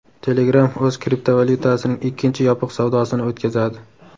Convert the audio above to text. Telegram o‘z kriptovalyutasining ikkinchi yopiq savdosini o‘tkazadi.